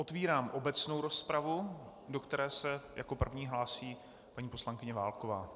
Otevírám obecnou rozpravu, do které se jako první hlásí paní poslankyně Válková.